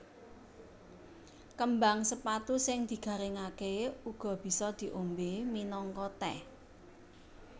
Kembang sepatu sing digaringaké uga bisa diombé minangka tèh